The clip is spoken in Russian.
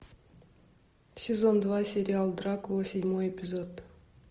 сезон два сериал дракула седьмой эпизод